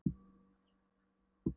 Vissirðu ekkert um það? spurði hún.